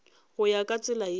go ya ka tsela ye